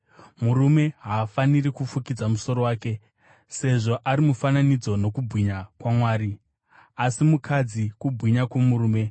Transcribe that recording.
Murume haafaniri kufukidza musoro wake, sezvo ari mufananidzo nokubwinya kwaMwari; asi mukadzi kubwinya kwomurume.